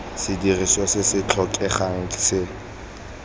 sedirisiwa se se tlhokegang se